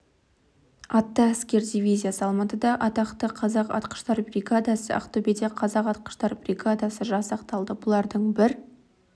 атты әскер дивизиясы алматыда атақты қазақ атқыштар бригадасы ақтөбеде қазақ атқыштар бригадасы жасақталды бұлардың бір